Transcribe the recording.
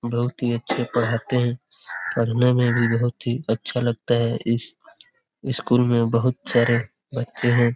बहुत ही अच्छे पढ़ाते हैं पढ़ने में भी बहुत अच्छा लगता है। इस स्कूल में बहुत सारे बच्चे हैं।